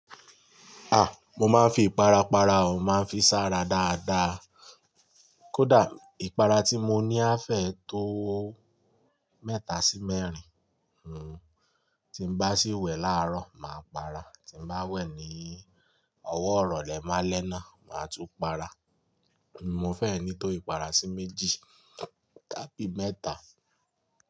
A! Mo máa ń fi ìpara para o, màá fi sá ra dáadáa. Kódà ìpara tí mo ní a fẹ̀ tó mẹ́ta sí mẹ́rin. Hhm. Tí n bá sì wẹ̀ láàrọ̀, màá para. Tí n bá wẹ̀ ní ọwọ́ irole lẹ́málẹ́ná, màá tún para. Mo fẹ́e ní tó ìpara sí méjì tàbí mẹ́ta.